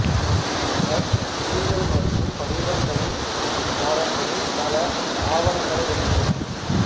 அவர் புவியியல் மற்றும் படிவங்கள் பாடங்களில் பல ஆவணங்களை எழுதினார்